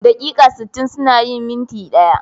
Daƙiƙa sittin suna yin minti ɗaya.